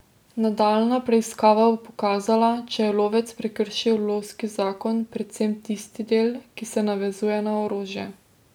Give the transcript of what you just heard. Nadaljnja preiskava bo pokazala, če je lovec prekršil lovski zakon, predvsem tisti del, ki se navezuje na orožje.